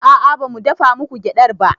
A'a bamu dafa muku gyaɗar ba